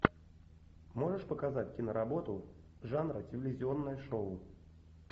можешь показать киноработу жанра телевизионное шоу